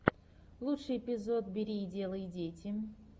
лучший эпизод бери и делай дети